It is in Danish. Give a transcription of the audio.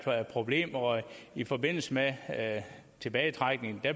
problem og i forbindelse med tilbagetrækningen